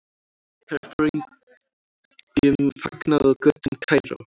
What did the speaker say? Herforingjum fagnað á götum Kaíró.